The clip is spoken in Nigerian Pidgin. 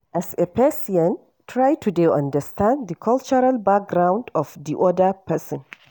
As a Persian try to dey understand di cultural background of di oda person